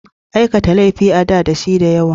Aikata laifuka a da dashi da yawa.